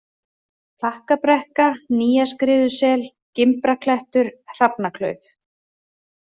Klakkabrekka, Nýjaskriðusel, Gimbraklettur, Hrafnaklauf